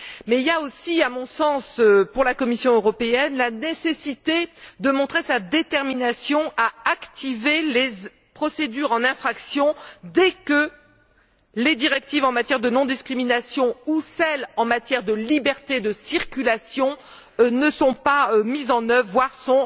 Mais il y a aussi, à mon sens, pour la Commission européenne la nécessité de montrer sa détermination à activer les procédures d'infraction dès que les directives en matière de non discrimination ou celles en matière de liberté de circulation ne sont pas mises en œuvre, voire sont